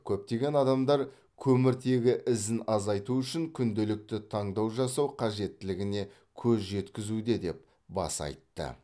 көптеген адамдар көміртегі ізін азайту үшін күнделікті таңдау жасау қажеттілігіне көз жеткізуде деп баса айтты